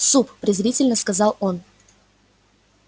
суп презрительно сказал он